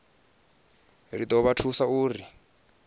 ri do vha thusa uri